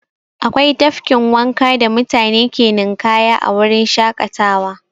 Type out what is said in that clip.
Akwai tafkin wanka da mutane ke ninƙaya a wurin shaƙatawa.